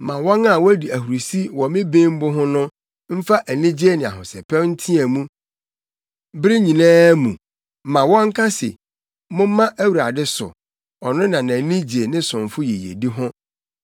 Ma wɔn a wodi ahurusi wɔ me bembu ho no mfa anigye ne ahosɛpɛw nteɛ mu bere nyinaa mu; ma wɔnka se, “Momma Awurade so, ɔno na nʼani gye ne somfo yiyedi ho.”